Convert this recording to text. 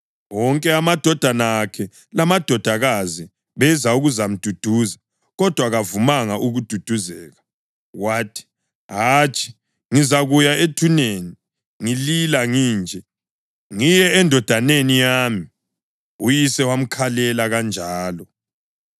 Wonke amadodana akhe lamadodakazi beza ukuzamduduza, kodwa kavumanga ukududuzeka. Wathi, “Hatshi, ngizakuya ethuneni ngilila nginje, ngiye endodaneni yami.” Uyise wamkhalela kanjalo.